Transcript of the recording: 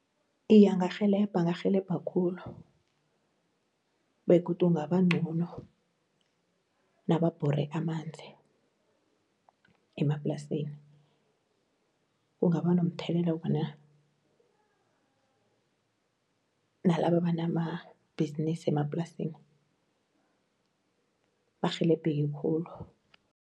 Iye angarhelebha, angarhelebha khulu, begodu kungaba ncono nababhore amanzi emaplasini kungaba nomthelela ngombana nalaba abanamabhizinisi emaplasini barhelebheke khulu.